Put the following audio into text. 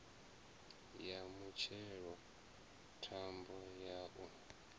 ya mutshelo thambo ya u